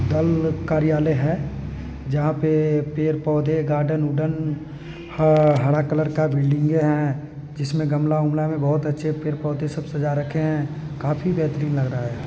धर्म कार्यालय है जहा पे पेड़ पौधे गार्डन ह हरा कलर का बिल्डिंगे है जिसमें गमला बुमला में बहुत अच्छे पेड़ पौधे सब सजा रखे हैं काफी बेहतरीन लग रहा है।